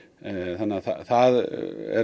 þannig að það er